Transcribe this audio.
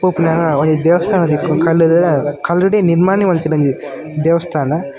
ಪೋಪುನಗ ಒಂಜಿ ದೇವಸ್ಥಾನ ತಿಕ್ಕುಂಡು ಕಲ್ಲ ಕಲ್ಲುಡೆ ನಿರ್ಮಾಣ ಮಂತಿನ ಒಂಜಿ ದೇವಸ್ಥಾನ.